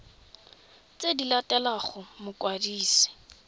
tse di latelang go mokwadisi